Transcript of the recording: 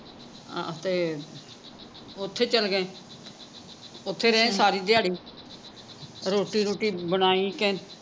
ਹਾਂ ਤੇ ਓਥੇ ਚੱਲ ਗਏ ਓਥੇ ਰਹੇ ਸਾਰੀ ਦਿਹਾੜੀ ਰੋਟੀ ਰੁਟਿ ਬਣਾਈ ਕ